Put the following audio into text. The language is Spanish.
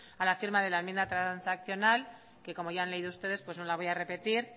a la firma de la enmienda transaccional que como ya han leído ustedes pues no la voy a repetir